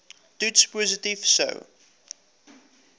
toets positief sou